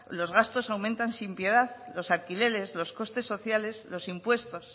los gastos aumentan sin piedad los alquileres los costes sociales los impuestos